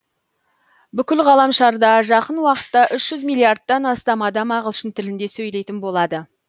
бүкіл ғаламшарда жақын уақытта үш жүз миллиардтан астам адам ағылшын тілінде сөйлейтін болады